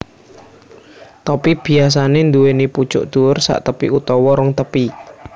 Topi biyasanè nduwèni pucuk dhuwur saktepi utawa rong tepi